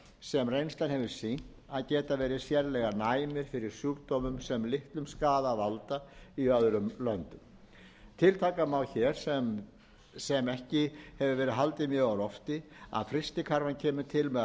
sem reynslan hefur sýnt að geta verið sérlega næmir fyrir sjúkdómum sem litlum skaða valda í öðrum löndum tiltaka má hér sem ekki hefur verið haldið mjög á lofti að frystikrafan kemur